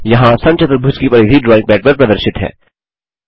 यहाँ समचतुर्भुज की परिधि ड्राइंग पैड पर प्रदर्शित है